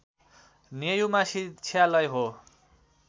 नेयुमा शिक्षालय हो